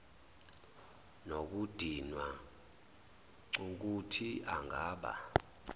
nokudinwa cukuthi angaba